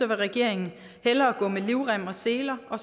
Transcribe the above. vil regeringen hellere gå med livrem og seler og